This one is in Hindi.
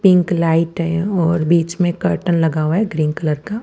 पिंक लाइट है और बीच में कर्टेन लगा हुआ है ग्रीन कलर का--